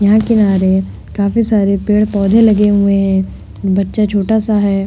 यहां किनारे काफी सारे पेड़ पौधे लगे हुए है। बच्चा छोटा सा है।